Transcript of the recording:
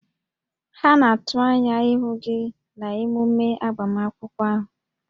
Ha na-atụ anya ịhụ gị na emume agbamakwụkwọ ahụ